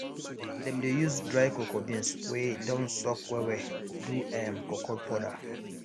dem dey use dry cocoa beans wey don soak wellwell do um cocoa powder